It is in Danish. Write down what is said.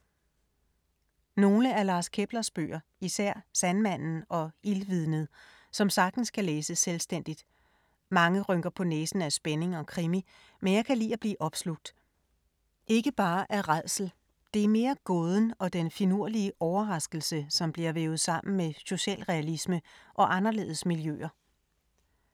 Nogle af Lars Keplers bøger, især Sandmanden og Ildvidnet, som sagtens kan læses selvstændigt. Mange rynker på næsen ad spænding og krimi, men jeg kan lide at blive opslugt. Ikke bare af rædsel, det er mere gåden og den finulige overraskelse, som bliver vævet sammen med socialrealisme og anderledes miljøer.